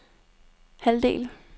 halvdel